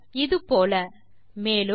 இது போல மேலும்